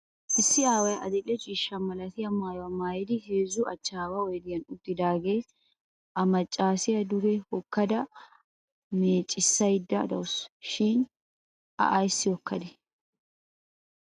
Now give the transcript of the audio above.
Issi aaway adil'e ciishsha malatiya maayuwa maayidi heezzu achchaawa oyidiyan uttidaagaa a maccaasiya duge hokkada meeccissayodda dawusu. Shin a ayissi hokkadee?